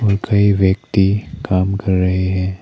कई व्यक्ति काम कर रहे हैं।